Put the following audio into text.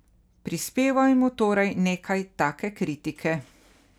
Prispevajmo torej nekaj take kritike.